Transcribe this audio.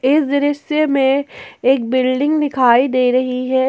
इस दृश्य में एक बिल्डिंग दिखाई दे रही है।